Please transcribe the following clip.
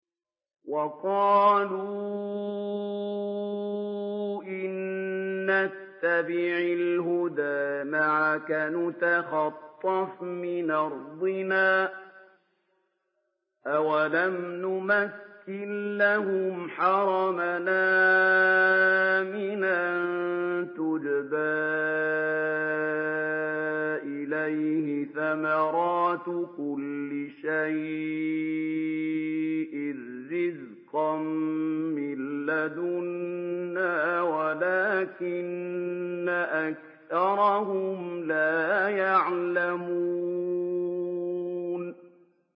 وَقَالُوا إِن نَّتَّبِعِ الْهُدَىٰ مَعَكَ نُتَخَطَّفْ مِنْ أَرْضِنَا ۚ أَوَلَمْ نُمَكِّن لَّهُمْ حَرَمًا آمِنًا يُجْبَىٰ إِلَيْهِ ثَمَرَاتُ كُلِّ شَيْءٍ رِّزْقًا مِّن لَّدُنَّا وَلَٰكِنَّ أَكْثَرَهُمْ لَا يَعْلَمُونَ